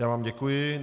Já vám děkuji.